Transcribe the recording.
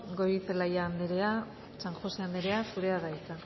goirizelaia anderea san josé anderea zurea da hitza